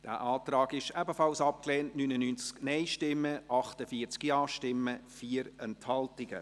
Sie haben diesen Antrag ebenfalls abgelehnt, mit 99 Nein- zu 48 Ja-Stimmen bei 4 Enthaltungen.